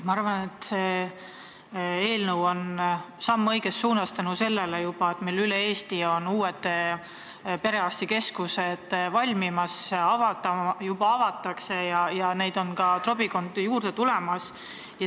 Ma arvan, et see eelnõu on samm õiges suunas ka tänu sellele, et üle Eesti on uued perearstikeskused valmimas, neid juba avatakse ja neid on ka trobikond juurde tulemas.